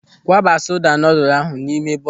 Kwaba soda noodle ahụ n'ime bọọsụ!